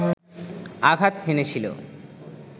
আঘাত হেনেছিল